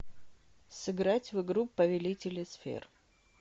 сыграть в игру повелители сфер